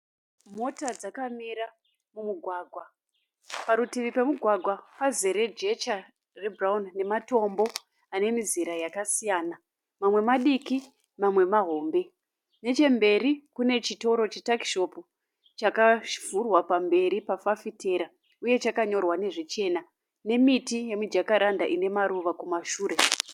Mota dzakamira mumugwagwa. Parutivi pemugwagwa pazere jecha rebhurauni nematombo anemizera yakasiyana mamwe madiki mamwe mahombe. Nechemberi kune chitoro chituckshop chakavhurwa pamberi pafafitera uye chakanyorwa nezvichena nemiti yemi Jakaranda ine maruva kumashure.